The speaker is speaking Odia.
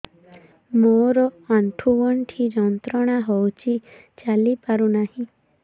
ମୋରୋ ଆଣ୍ଠୁଗଣ୍ଠି ଯନ୍ତ୍ରଣା ହଉଚି ଚାଲିପାରୁନାହିଁ